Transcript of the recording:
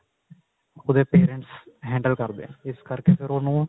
ਉਹਦੇ parents handle ਕਰਦੇ ਨੇ ਇਸ ਕਰਕੇ ਫ਼ੇਰ ਉਹਨੂੰ